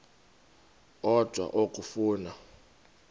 odwa la okafuna